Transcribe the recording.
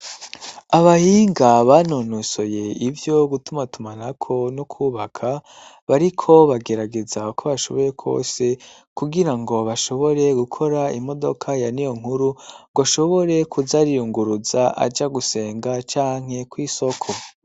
Abahinga banonosoye ivyo gutumatuma nako no kwubaka bariko bagerageza ko bashoboye kwose kugira ngo bashobore gukora imodoka ya ni yo nkuru ngo ashobore kuzariyunguruza aja gusenga canke ko isoko.